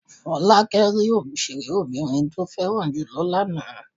Fọlákẹ́ rí òṣèré obìnrin tí ó fẹ́ràn jù lọ lánàá.